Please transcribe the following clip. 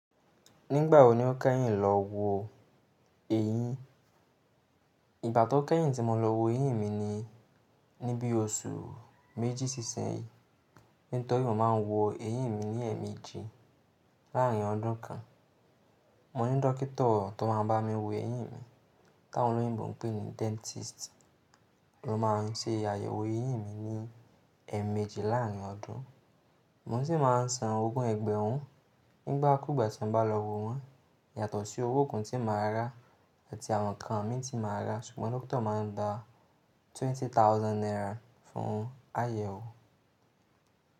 Nígbà wo ni o kẹ́yìn lọ wo eyín? Ìgba to kẹ́yìn tí mo lọ wo eyín mi ni níbi oṣù méjì sí isinyin. Nítorí mo máa ń wo eyín mi ní ẹ̀ẹ̀mejì láàárín ọdún kan. Mo ní dókítà tó máa ń bá mi wo eyín mi, tá awon oloyinbo n pè ní dentist. Lo ma se àyẹ̀wò eyín mi ní ẹ̀ẹ̀mejì láàárín ọdún. Mo sì máa ń san ogún ẹgbẹ̀rún nígbà kúgbà tí n bá lọ wo wọ́n. Yàtọ̀ sí owó nkan tí máa rà àti àwọn nkan mí tí máa rà. Ṣùgbọ́n dókítà máa ń gba twenty thousand naira fún àyẹ̀wò.